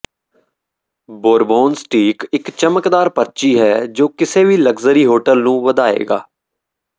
Bourbon steak ਇਕ ਚਮਕਦਾਰ ਪਰਚੀ ਹੈ ਜੋ ਕਿਸੇ ਵੀ ਲਗਜ਼ਰੀ ਹੋਟਲ ਨੂੰ ਵਧਾਏਗਾ